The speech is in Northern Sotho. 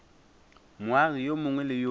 moagi yo mongwe le yo